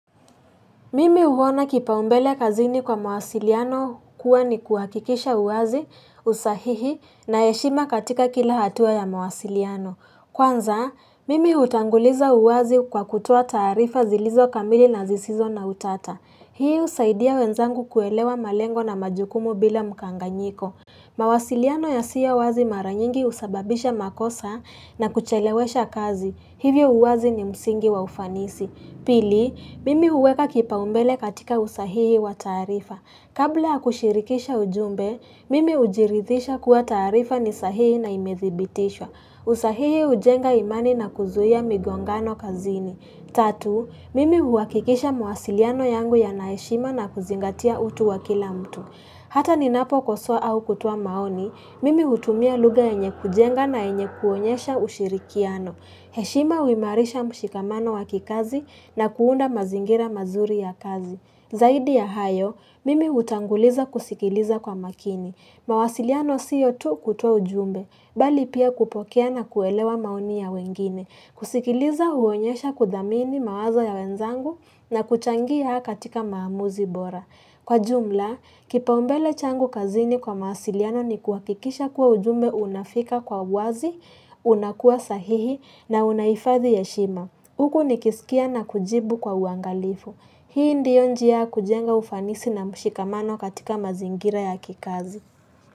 Mimi uhona kipaumbele kazini kwa mawasiliano kuwa ni kuhakikisha uwazi, usahihi na eshima katika kila hatua ya mawasiliano. Kwanza, mimi utanguliza uwazi kwa kutoa taarifa zilizo kamili na zisizo na utata. Hii usaidia wenzangu kuelewa malengo na majukumu bila mkanganyiko. Mawasiliano ya siyo wazi maranyingi usababisha makosa na kuchelewesha kazi. Hivyo uwazi ni msingi wa ufanisi. Pili, mimi uweka kipa umbele katika usahihi wa taarifa. Kabla ya kushirikisha ujumbe, mimi ujirithisha kuwa taarifa ni sahihi na imedhibitishwa. Usahihi ujenga imani na kuzuia migongano kazini. Tatu, mimi huakikisha mawasiliano yangu ya naeshima na kuzingatia utu wa kila mtu. Hata ni napo kosoa au kutoa maoni, mimi hutumia lugha yenye kujenga na enye kuonyesha ushirikiano. Heshima uimarisha mshikamano wakikazi na kuunda mazingira mazuri ya kazi. Zaidi ya hayo, mimi utanguliza kusikiliza kwa makini. Mawasiliano siyo tu kutoa ujumbe, bali pia kupokea na kuelewa maoni ya wengine. Kusikiliza huonyesha kudhamini mawazo ya wenzangu na kuchangia katika maamuzi bora Kwa jumla, kipaumbele changu kazini kwa mawasiliano ni kuakikisha kuwa ujumbe unafika kwa uwazi, unakuwa sahihi na unaifadhi heshima Uku ni kisikia na kujibu kwa uangalifu Hii ndiyo njia ya kujenga ufanisi na mshikamano katika mazingira ya kikazi.